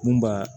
Mun b'a